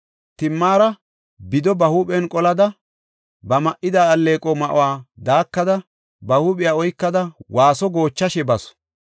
Timaara bido ba huuphen qolada, ba ma7ida alleeqo ma7uwa daakada; ba huuphiya oykada, waaso goochashe basu.